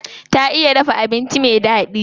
Ta iya dafa abinci me daɗi.